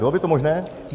Bylo by to možné?